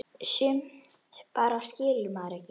Sumt bara skilur maður ekki.